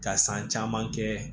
Ka san caman kɛ